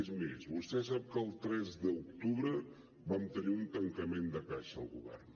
és més vostè sap que el tres d’octubre vam tenir un tancament de caixa al govern